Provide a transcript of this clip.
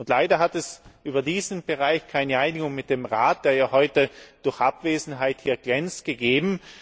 Leider hat es über diesen Bereich keine Einigung mit dem Rat, der heute durch Abwesenheit glänzt, gegeben.